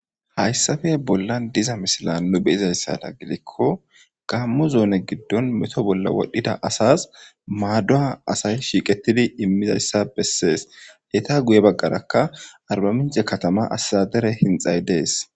hayssafe bolla diza misila nu beyizayssada gidikko gammu zoone giddon meto bolla wodhdhida asas maadduha asay shiiqetidi immidayssa bessees heta guye baggarakka arbamince katama asadere hinxay dees